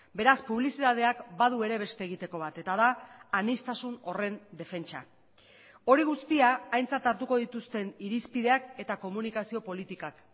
beraz publizitateak badu ere beste egiteko bat eta da aniztasun horren defentsa hori guztia aintzat hartuko dituzten irizpideak eta komunikazio politikak